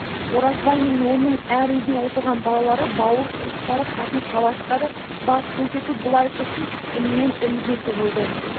оразбай мен оның әр үйде отырған балалары бауыр туыстары қатын-қалаштары бас көрсету былай тұрсын іннен-інге тығылды